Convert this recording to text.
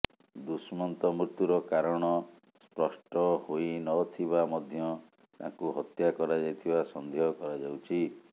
ଦୁଷ୍ମନ୍ତ ମୃତ୍ୟୁର କାରଣ ସ୍ପଷ୍ଟ ହୋଇ ନ ଥିବା ମଧ୍ୟ ତାଙ୍କୁ ହତ୍ୟା କରାଯାଇଥିବା ସନ୍ଦେହ କରାଯାଉଛି